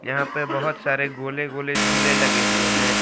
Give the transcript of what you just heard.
यहां पे बहुत सारे गोले गोले झूले लगे हुए हैं।